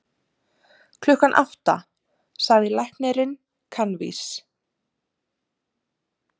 Klukkan átta, sagði læknirinn kankvís.